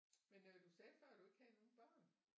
Men øh du sagde før at du ikke havde nogle børn